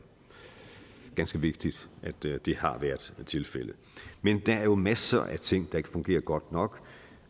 ganske vigtigt at det det har været tilfældet men der er jo masser af ting der ikke fungerer godt nok